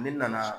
Ne nana